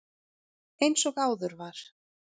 Eins og áður var